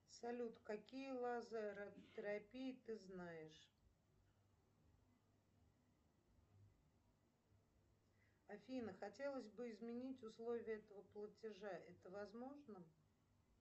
салют какие лазеротерапии ты знаешь афина хотелось бы изменить условия этого платежа это возможно